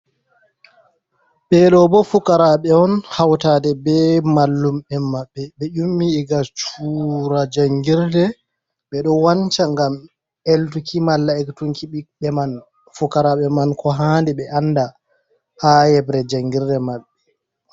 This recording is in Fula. Ɓe ɗo bo fukaraaɓe on hautaade be mallum'en maɓɓe. ɓe yummi iga cura jangirde ɓe ɗo wanca ngam eltuki malla ekkutunki ɓiɓɓe man, fukaraaɓe man ko handi ɓe anda haa yeɓre jangirde man.